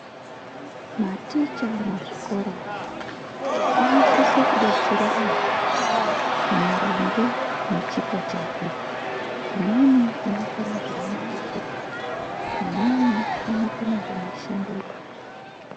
Maticha muzvikoromo anisise kubetsere mwana maringe nechipo chakwe. Umweni unokona zvemabhuku, umweni unokona zvemishando yenyara.